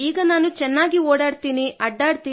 ನಾನು ಈಗ ಚೆನ್ನಾಗಿ ಓಡಾಡುತ್ತೇನೆ